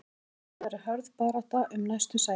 Hins vegar er hörð barátta um næstu sæti.